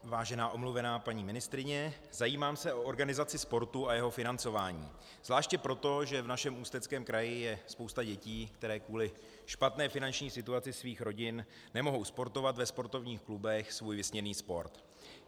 Vážená omluvená paní ministryně, zajímám se o organizaci sportu a jeho financování, zvláště proto, že v našem Ústeckém kraji je spousta dětí, které kvůli špatné finanční situaci svých rodin nemohou sportovat ve sportovních klubech svůj vysněný sport.